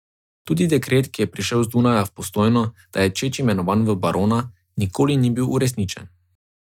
Tudi dekret, ki je prišel z Dunaja v Postojno, da je Čeč imenovan v barona, nikoli ni bil uresničen.